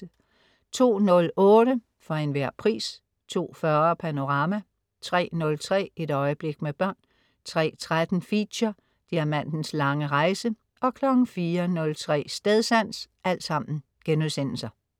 02.08 For Enhver Pris* 02.40 Panorama* 03.03 Et øjeblik med børn* 03.13 Feature: Diamantens lange rejse* 04.03 Stedsans*